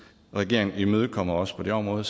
regeringen imødekommer os på det område